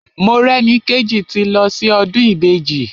Morẹ́nikéjì ti lọ sí ọdún Ìbejì.